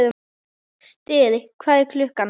Styrr, hvað er klukkan?